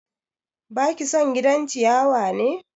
Baki son gidan ciyawa ne?